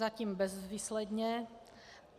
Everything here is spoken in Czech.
Zatím bezvýsledně.